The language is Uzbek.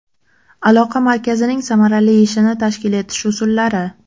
Aloqa markazining samarali ishini tashkil etish usullari.